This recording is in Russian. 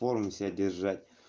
в форме себя держать